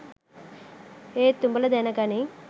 ඒත් උඔල දැන ගනින්